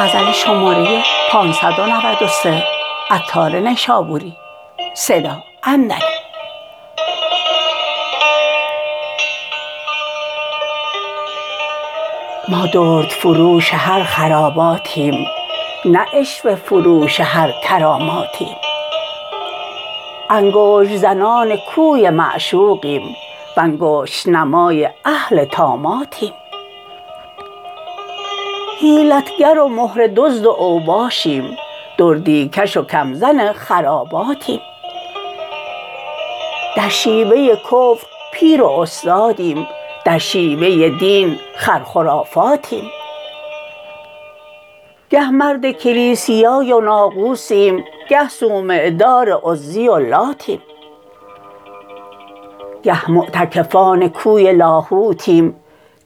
ما دردفروش هر خراباتیم نه عشوه فروش هر کراماتیم انگشت زنان کوی معشوقیم وانگشت نمای اهل طاماتیم حیلت گر و مهره دزد و اوباشیم دردی کش و کم زن خراباتیم در شیوه کفر پیر و استادیم در شیوه دین خر خرافاتیم گه مرد کلیسیای و ناقوسیم گه صومعه دار عزی و لاتیم گه معتکفان کوی لاهوتیم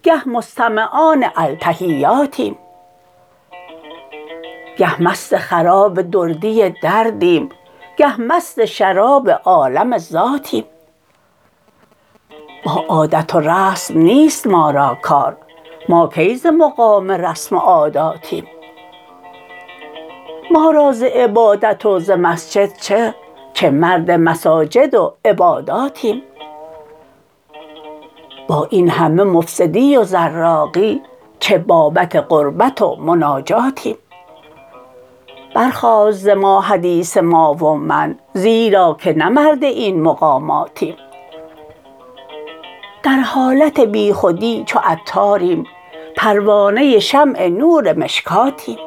گه مستمعان التحیاتیم گه مست خراب دردی دردیم گه مست شراب عالم الذاتیم با عادت و رسم نیست ما را کار ما کی ز مقام رسم و عاداتیم ما را ز عبادت و ز مسجد چه چه مرد مساجد و عباداتیم با این همه مفسدی و زراقی چه بابت قربت و مناجاتیم برخاست ز ما حدیث ما و من زیرا که نه مرد این مقاماتیم در حالت بیخودی چو عطاریم پروانه شمع نور مشکاتیم